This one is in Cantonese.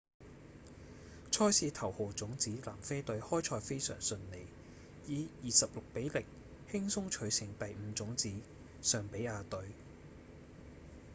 賽事頭號種子南非隊開賽非常順利以26比0輕鬆取勝第五種子尚比亞隊